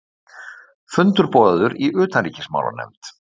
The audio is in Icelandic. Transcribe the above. Fundur boðaður í utanríkismálanefnd